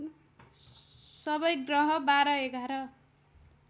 सबै ग्रह १२ ११